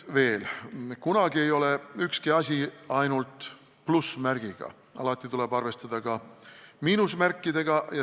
Kunagi ei ole ükski asi ainult plussmärgiga, alati tuleb arvestada ka miinusmärkidega.